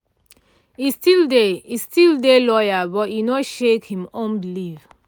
e still dey e still dey loyal but e no shake him own belief